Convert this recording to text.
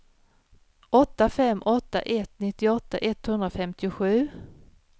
åtta fem åtta ett nittioåtta etthundrafemtiosju